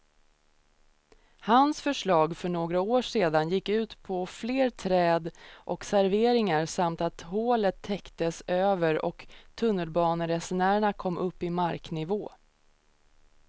Hans förslag för några år sedan gick ut på fler träd och serveringar samt att hålet täcktes över och tunnelbaneresenärerna kom upp i marknivå.